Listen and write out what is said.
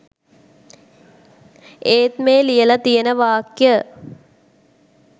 ඒත් මේ ලියලා තියන වාක්‍ය